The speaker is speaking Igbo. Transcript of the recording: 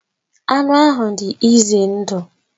Anụ ahụ dị ize ndụ